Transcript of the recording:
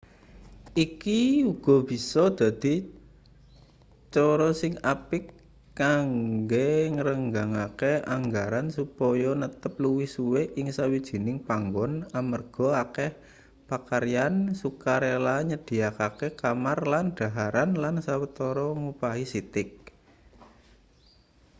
iki uga bisa dadi cara sing apik kanggo ngrenggangake anggaran supaya netep luwih suwe ing sawijining panggon amarga akeh pakaryan sukarela nyedhiyakake kamar lan dhaharan lan sawetara ngupahi sithik